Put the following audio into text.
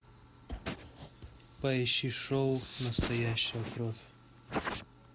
поищи шоу настоящая кровь